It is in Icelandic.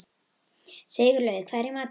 Sigurlaug, hvað er í matinn?